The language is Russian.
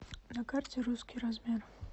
на карте русский размер